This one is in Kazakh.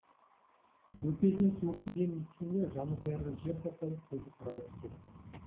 өкпесіне суық тигенін естігенде жанын қоярға жер таппай көзі қарауытып кетті